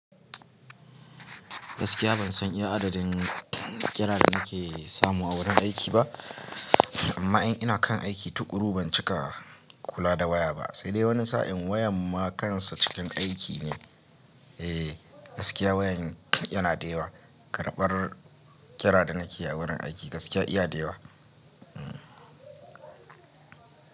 Gaskiya ban san iya adadin kira da ake samu a wurin aiki ba, amma in ina kan aiki tukuru ban cika kula da waya ba, sai dai wani sa'in wayan ma kansa cikin aiki ne. Eh, gaskiya wayan yana da yawa. Karbar kira da nake a wurin aiki gaskiya iya da yawa. Hmm.